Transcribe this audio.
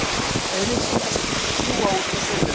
Auglýsingaskilti fljúga út og suður